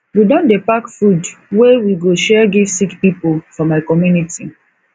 we don dey pack food wey we go share give sick pipo for my community